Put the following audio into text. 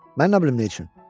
Mən nə bilim nə üçün?